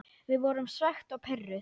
Við vorum svekkt og pirruð.